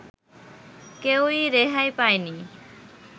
কেউই রেহাই পায়নি